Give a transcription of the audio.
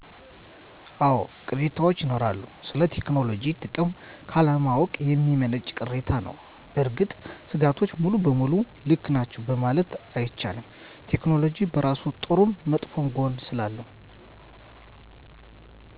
አወ ቅሬታወች ይኖራሉ ስለ ቴክኖሎጅ ጥቅም ካለማወቅ የሚመነጭ ቅሬታ ነዉ። በእርግጥ ሰጋቶቹ ሙሉ በሙሉ ልክ ናቸዉ መማለት አይቻልም። ቴክኖሎጅ በራሱ ጥሩም መጥፎም ጎን ስላለው